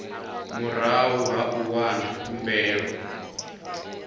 murahu ha u wana khumbelo